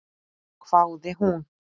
hváði hún.